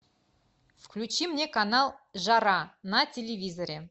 включи мне канал жара на телевизоре